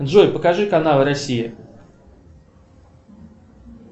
джой покажи канал россия